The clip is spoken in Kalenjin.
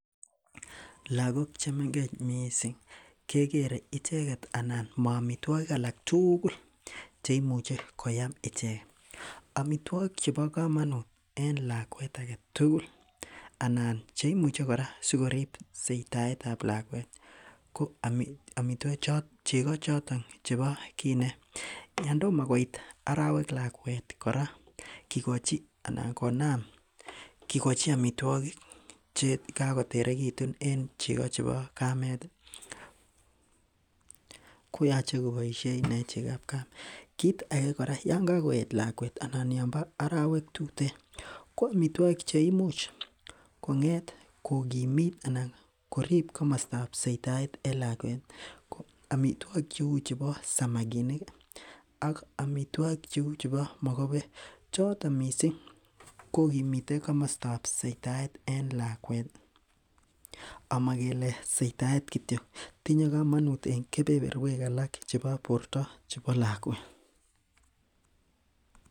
Lagok chemengech missing kekere icheket anan mo omitwogik alak tugul cheimuche koyaam ichek, omitwogik chebo komonut en lakwet aketugul anan cheimuche koraa sikorib soitaetab lakwet ko omitwogik chon cheko choton chebo kinet, yondomo koit orowek lakwet koraa kikochin anan konam kikochi omitwogik chekakoterekitun en cheko chebo kamet , koyoche koboishen inee chekab kamet kit aje joraa yon kokoet lakwet ii anan yombo orowek tuten ko omitwogik cheimuche konget kokimit anan korib komostab soitaet en lakwet ko omitwogik cheu chebo samakinik ok omitwogik cheu chebo mokobek choton missing' kokimite komostab soitaet en lakwet omo kele soitaet kityok tinye komonut en kebeberuek alak chebo borto chebo lakwet.